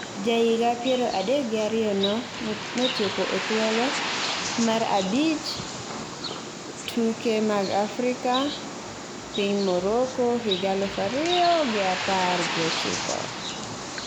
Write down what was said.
Ja higi piero adek gi ariyo no notieko e thuolo mar abich at tuke mag Afrika piny Morocco higa aluf ariyo gi apar gi ochiko.